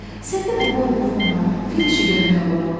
Səndə bu boy buxum var, fil işi görmək olar.